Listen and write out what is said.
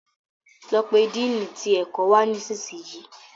lọ pé Dínni tí ẹkọ wá nísìsiyìí.